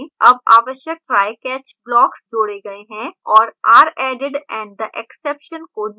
अब आवश्यक trycatch blocks जोड़े गए हैं और are added and the exception को नियंत्रित किया गया है